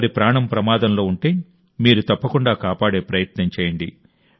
ఒకరి ప్రాణం ప్రమాదంలో ఉంటే మీరు తప్పకుండా కాపాడే ప్రయత్నం చేయండి